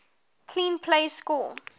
clean plays score